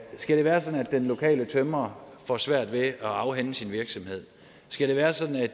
skal det være sådan at den lokale tømrer får svært ved at afhænde sin virksomhed skal det være sådan at